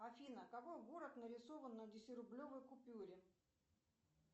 афина какой город нарисован на десятирублевой купюре